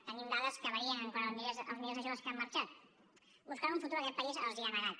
tenim dades que varien quant als milers de joves que han marxat buscant un futur que aquest país els ha negat